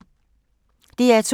DR P2